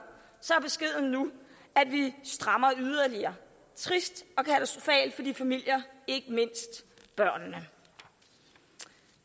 er vi strammer yderligere trist og de familier ikke mindst børnene